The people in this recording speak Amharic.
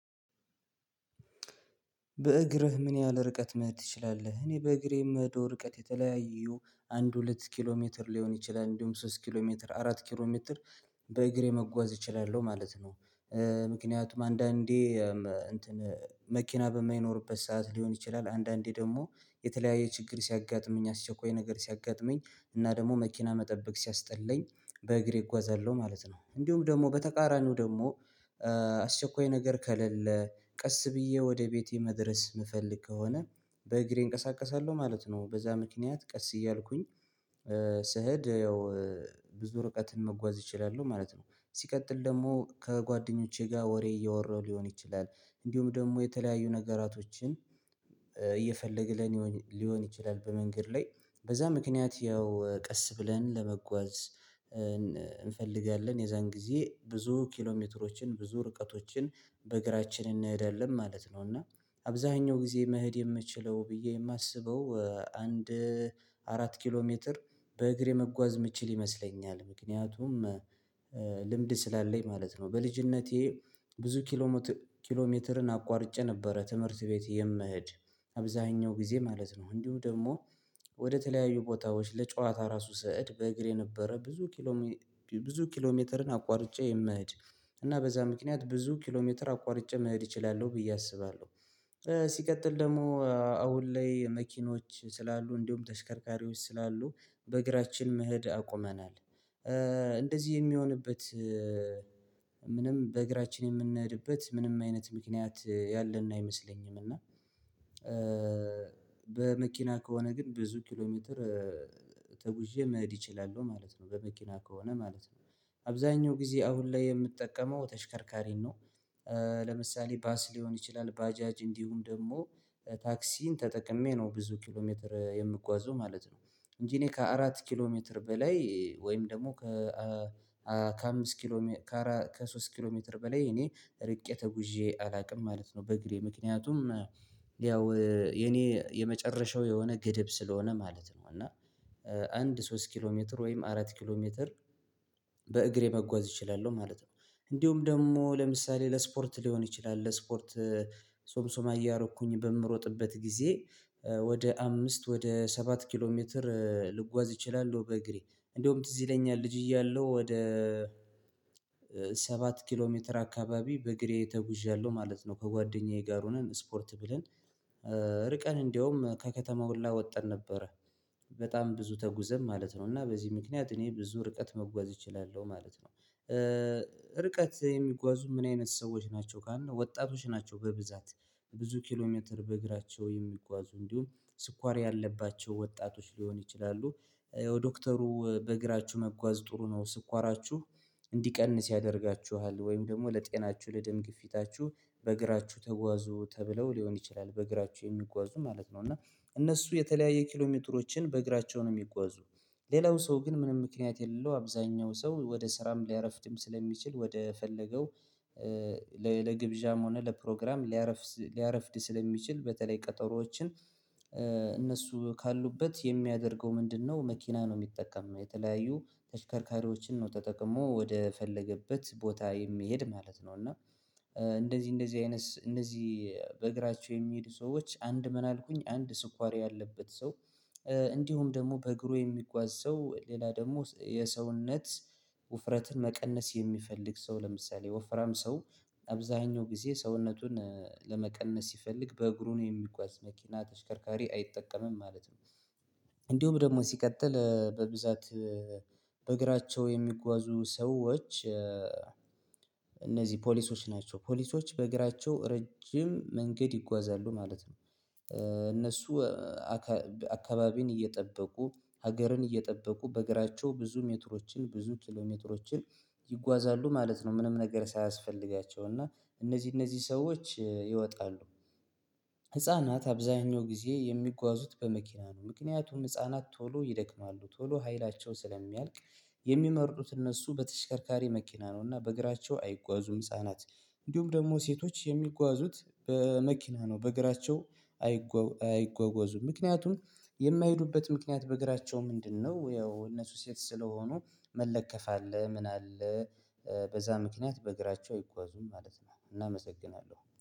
በእግርህ ምን ያህል ርቀት መሄድ ትችላለህ? እኔ በእግሬም መሄደው ርቀት የተለያዩ አንድ ሁለት ኪሎ ሜትር ሊሆን ይችላል እንዲሁም ሶስት ኪሎ ሜትር አራት ኪሎ ሜትር በእግሬ መጓዝ እችላለሁ ማለት ነው ምክንያቱም አንዳንዴ እንትን መኪና በማይኖርበት ሰዓት ሊሆን ይችላል አንዳንዴ ደግሞ የተለያየ ችግር ሲያጋጥመኝ አስቸኳይ ነገር ሲያጋጥመኝ እና ደግሞ መኪና መጠበቅ ሲያስጠላኝ በእግሬ እጓዛለሁ ማለት ነው እንዲሁም ደግሞ በተቃራኒው ደግሞ አስቸኳይ ነገር ከሌለ ቀስ ብዬ ወደ ቤቴ መድረስ የምፈልግ ከሆነ በእግሬ እንቀሳቀሳለሁ ማለት ነው። በዛ ምክንያት ቀስ እያልኩኝ ስሄድ ያው ብዙ ርቀትን መጓዝ እችላለሁ ማለት ነው። ሲቀጥል ደግሞ ከጓደኞቼ ጋር ወሬ እየወራሁ ሊሆን ይችላል፥ እንዲሁም ደግሞ የተለያዩ ነገራቶችን እየፈለግን ሊሆን ይችላል በመንገድ ላይ በዛ ምክንያት ያው ቀስ ብለን ለመጓዝ እንፈልጋለን የዛን ጊዜ ብዙ ኪሎሜትሮችን ብዙ ርቀቶችን በእግራችን እንሄዳለን ማለት ነው። እና አብዛኛው ጊዜ መሄድ የምችለው ብዬ የማስበው አንድ አራት ኪሎ ሜትር በእግሬ መጓዝ ምችል ይመስለኛል። ምክንያቱም ልምድ ስላለኝ ማለት ነው። በልጅነቴ ብዙ ኪሎ ሜትርን አቋርጬ ነበረ ትምህርት ቤት የምሄድ አብዛኛው ጊዜ ማለት ነው። እንዲሁ ደግሞ ወደ ተለያዩ ቦታዎች ለጨዋታ ራሱ ስሄድ በእግር የነበረ ብዙ ኪሎ ብዙ ኪሎ ሜትርን አቋርጬ የመሄድ እና በዛ ምክንያት ብዙ ኪሎ ሜትር አቋርጬ መሄድ እችላለሁ ብዬ አስባለሁ ሲቀጥል ደግሞ አሁን ላይ መኪኖች ስላሉ እንዲሁም ተሽከርካሪዎች ስላሉ በእግራችን መሄድ አቁመናል እንደዚህ የሚሆንበት ምንም በእግራችን የምንሄድበት ምንም አይነት ምክንያት ያለን አይመስለኝም እና በመኪና ከሆነ ግን ብዙ ኪሎ ሜትር ተጉዤ መሄድ እችላለሁ ማለት ነው በመኪና ከሆነ ማለት ነው። አብዛኛው ጊዜ አሁን ላይ የምትጠቀመው ተሽከርካሪን ነው። ለምሳሌ ባስ ሊሆን ይችላል፥ ባጃጅ እንዲሁም ደግሞ ታክሲን ተጠቅሜ ነው ብዙ ኪሎ ሜትር የምጓዘው ማለት ነው። እንጂ እኔ ከአራት ኪሎ ሜትር በላይ ወይም ደግሞ ከ ከአምስት ኪሎ ከሶስት ኪሎ ሜትር በላይ እኔ ርቄ ተጉዤ አላውቅም ማለት ነው በግሬ። ምክንያቱም ያው የኔ የመጨረሻው የሆነ ግድብ ስለሆነ ማለት ነው እና አንድ ሶስት ኪሎ ሜትር ወይም አራት ኪሎ ሜትር በእግሬ መጓዝ እችላለሁ ማለት ነው እንዲሁም ደግሞ ለምሳሌ ለስፖርት ሊሆን ይችላል ለስፖርት ሶምሶማ እያረኩኝ በምሮጥበት ጊዜ ወደ አምስት ወደ ሰባት ኪሎ ሜትር ልጓዝ ይችላል በግሬ እንደውም ትዝ ይለኛል ልጅ እያለሁ ወደ ሰባት ኪሎ ሜትር አካባቢ በእግሬ ተጉዣለሁ ማለት ነው ከጓደኛዬ ጋር ሆነን ስፖርት ብለን ርቀን እንደውም ከከተማ ሁላ ወጣን ነበረ በጣም ብዙ ተጉዘን ማለት ነው እና በዚህ ምክንያት እኔ ብዙ ርቀት መጓዝ እችላለሁ ማለት ነው ርቀት የሚጓዙ ምን አይነት ሰዎች ናቸው ካልን ወጣቶች ናቸው በብዛት ብዙ ኪሎ ሜትር በእግራቸው የሚጓዙ እንዲሁም ስኳር ያለባቸው ወጣቶች ሊሆን ይችላሉ ወደ ዶክተሩ በእግራችሁ መጓዝ ጥሩ ነው ስኳራችሁ እንዲቀንስ ያደርጋችኋል ወይም ደግሞ ለጤናችሁ ለደም ግፊታችሁ በእግራችሁ ተጓዙ ተብለው ሊሆን ይችላል በእግራችሁ የሚጓዙ ማለት ነው እና እነሱ የተለያየ ኪሎሜትሮችን በእግራቸው ነው የሚጓዙ ሌላው ሰው ግን ምንም ምክንያት የለው አብዛኛው ሰው ወደ ስራም ሊያረፍድም ስለሚችል ወደ ፈለገው ለግብዣም ሆነ ለፕሮግራም ሊያረፍድ ሊያረፍድ ስለሚችል በተለይ ቀጠሮዎችን እነሱ ካሉበት የሚያደርገው ምንድነው መኪና ነው የሚጠቀም ነው የተለያዩ ተሽከርካሪዎችን ነው ተጠቅሞ ወደፈለገበት ቦታ የሚሄድ ማለት ነው እና እንደዚህ እንደዚህ አይነት እነዚህ በእግራቸው የሚሄዱ ሰዎች አንድ ምን አልኩኝ አንድ ስኳር ያለበት ሰው እንዲሁም ደግሞ በእግሩ የሚጓዝ ሰው ሌላ ደግሞ የሰውነት ውፍረትን መቀነስ የሚፈልግ ሰው ለምሳሌ ወፍራም ሰው አብዛኛው ጊዜ ሰውነቱን ለመቀነስ ሲፈልግ በእግሩ ነው የሚጓዝ መኪና ተሽከርካሪ አይጠቀምም ማለት ነው እንዲሁም ደግሞ ሲቀጥል በብዛት በእግራቸው የሚጓዙ ሰዎች እነዚህ ፖሊሶች ናቸው ፖሊሶች በእግራቸው ረጅም መንገድ ይጓዛሉ ማለት ነው እነሱ አካባቢን እየጠበቁ ሀገርን እየጠበቁ በእግራቸው ብዙ ሜትሮችን ብዙ ኪሎሜትሮችን ይጓዛሉ ማለት ነው ምንም ነገር ሳያስፈልጋቸው እና እነዚህ እነዚህ ሰዎች ይወጣሉ ህፃናት አብዛኛው ጊዜ የሚጓዙት በመኪና ነው ምክንያቱም ህፃናት ቶሎ ይደክማሉ ቶሎ ሀይላቸው ስለሚያልቅ የሚመሩት እነሱ በተሽከርካሪ መኪና ነው እና በእግራቸው አይጓዙም ህፃናት እንዲሁም ደግሞ ሴቶች የሚጓዙት መኪና ነው በእግራቸው አይጓጓዙም ምክንያቱም የማይሄዱበት ምክንያት በእግራቸው ምንድነው ያው እነሱ ሴት ስለሆኑ መለከፍ አለ ምን አለ በዛ ምክንያት በእግራቸው አይጓዙም ማለት ነው እናመሰግናለን